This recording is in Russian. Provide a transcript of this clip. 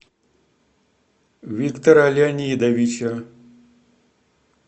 виктора леонидовича